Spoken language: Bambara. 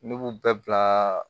Ne b'u bɛɛ bila